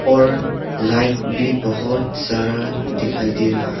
और लाइट भी बहुत सारा दिखाई दे रहा है।